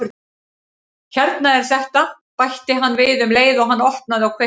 Hérna er þetta- bætti hann við um leið og hann opnaði og kveikti.